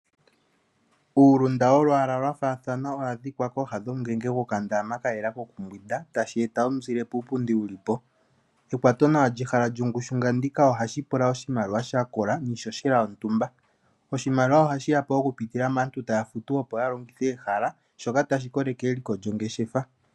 Uulunda woolwaa lwaafathana ohawu adhika kooha dhomu ngenge kayela koku mbwinda tashi eta omuzile puupundi mboka wulipo. Ekwato nawa lyehala lyongushu nga ndika ohashi pula oshimaliwa sha kola niishoshelayontumba. Oshimaliwa ohashi yapo oku pitila maantu taya futu ya longithe ehala shoka tashi koleke eliko lyongeshefa.